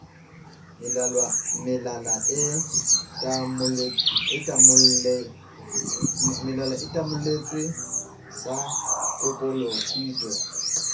melala e tamolletswe sa kokolofitwe